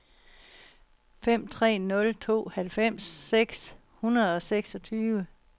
fem tre nul to halvfems seks hundrede og seksogtyve